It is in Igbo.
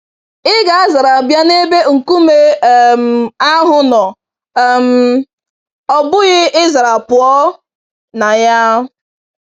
Ị ga-azara bịa n'ebe nkume um ahụ nọ um, ọbụghị ịzara pụọ na ya.